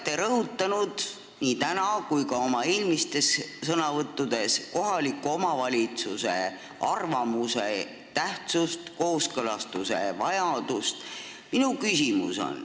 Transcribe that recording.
Te olete nii täna kui ka oma eelmistes sõnavõttudes rõhutanud kohaliku omavalitsuse arvamuse tähtsust ja kooskõlastamise vajadust.